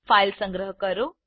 file સંગ્રહ કરો